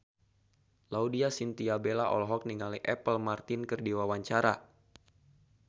Laudya Chintya Bella olohok ningali Apple Martin keur diwawancara